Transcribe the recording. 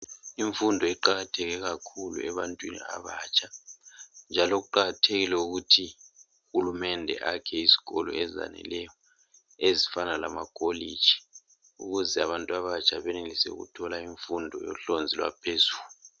Imfundo iqakatheke kakhulu ebantwini abatsha njalo kuqakathekile ukuthi uHulumende ayakhe isikolo ezaneleyo ezifana lamacollege ukuze abantu abatsha benelise ukuthola imfundo yohlonzi lwaphezulu